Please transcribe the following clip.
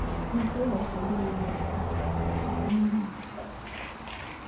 luseza kubelekwa akanakho